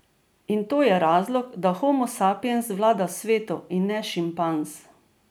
In to je razlog, da homo sapiens vlada svetu, in ne šimpanz.